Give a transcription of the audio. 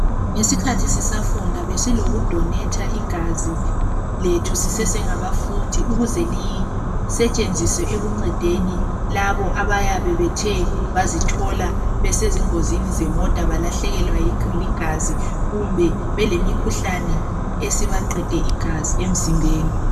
Ngesikhathi sisafunda besilokudonetha igazi lethu sisesengabafundi .Ukuze lisetshenziswe ekuncedeni labo abayabe Bethe bazithola besezingozini zemota balahlekelwa ligazi .Kumbe belemikhuhlane esibaqede igazi emzimbeni.